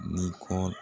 Ni ko